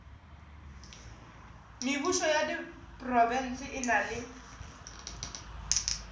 mebušo ya diprofense e na